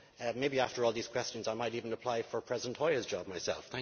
Maybe after all these questions I might even apply for President Hoyer's job myself.